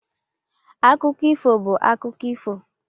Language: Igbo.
akụkọ ifo bụ akụkọ ifo.